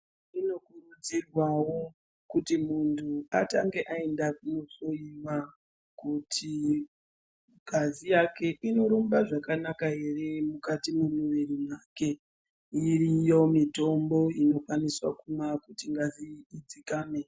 Zvinokurudzirwawo kuti munhu atange aenda kunohloiwa, kuti ngazi yake inorumba zvakanaka ere mukati mwemuviri wake. Iriyo mitombo inokwanisa kumwiwa kuti ngazi idzikame.